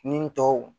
Nin tɔw